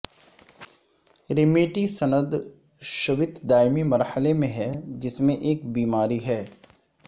رمیٹی سندشوت دائمی مرحلے میں ہے جس میں ایک بیماری ہے